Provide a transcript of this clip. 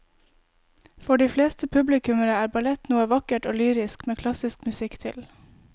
For de fleste publikummere er ballett noe vakkert og lyrisk med klassisk musikk til.